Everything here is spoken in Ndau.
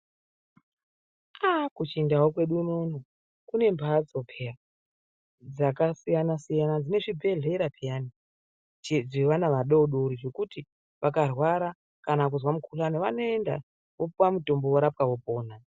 Kuchindau kwedu unono kune mhatso pheya dzakasiyana-siyana dzemuchibhedhlera cheana adodori dzekuti vakarwara kana kuzwa mukhuhlane vanoenda, vopuwa mutombo, vorapwa vopona.